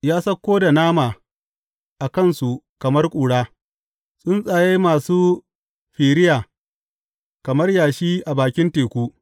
Ya sauko da nama a kansu kamar ƙura, tsuntsaye masu firiya kamar yashi a bakin teku.